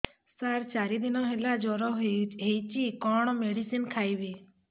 ସାର ଚାରି ଦିନ ହେଲା ଜ୍ଵର ହେଇଚି କଣ ମେଡିସିନ ଖାଇବି